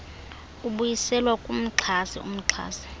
ibuyiselwa kumxhasi umxhasi